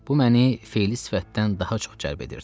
Bu məni feli sifətdən daha çox cəlb edirdi.